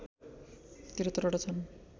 ७३ वटा छन्